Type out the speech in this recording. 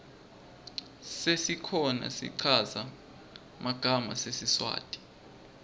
sesikhona schaza magama sesiswati